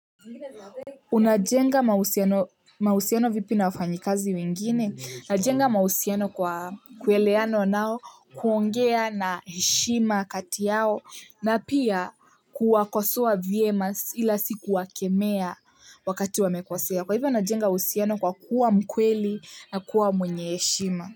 Unajenga mahusiano vipi na wafanyi kazi wengine? Najenga mahusiano kwa kuelewana nao kuongea na heshima kati yao na pia kuwakosoa vyema ila sikuwakemea wakati wamekosea. Kwa hivyo unajenga uhusiano kwa kuwa mkweli na kuwa mwenye heshima.